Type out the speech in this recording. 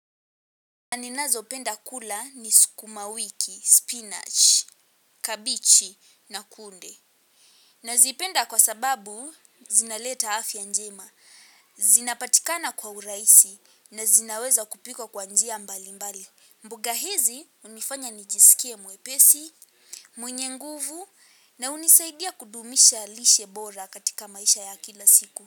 Na ninazo penda kula ni sukumawiki, spinach, kabichi na kunde. Nazipenda kwa sababu zinaleta afya njema. Zinapatikana kwa urahisi na zinaweza kupikwa kwa njia mbali mbali. Mboga hizi unifanya nijisikie mwepesi, mwenye nguvu na unisaidia kudumisha lishe bora katika maisha ya kila siku.